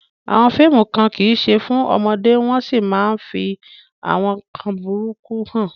Àwọn fíìmù kan kì í ṣe fún ọmọdé wọ́n sì máa ń fi àwọn nkan burúkú hàn.